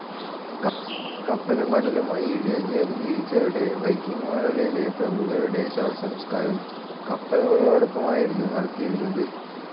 കപ്പലും കടലുമായി ഇഴചേർന്ന് ജീവിച്ചിരുന്ന വൈക്കിങ്ങുകളിലെ പ്രമുഖരുടെ ശവസംസ്കാരം കപ്പലുകളോടൊപ്പമായിരുന്നു നടത്തിയിരുന്നത്.